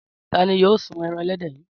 Ta ni yóò sun ẹran ẹlẹ́dẹ̀ yìí?